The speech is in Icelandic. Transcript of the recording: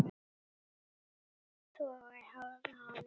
Toga í hárið á honum.